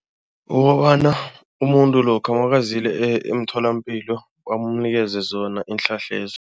Ukobana umuntu lokha nakaziyele emtholampilo bamunikeza zona iinhlahla lezo.